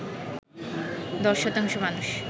১০ শতাংশ মানুষ